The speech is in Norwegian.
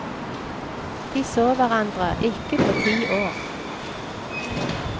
De så hverandre ikke på ti år.